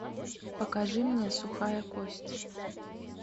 покажи мне сухая кость